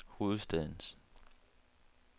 hovedstadens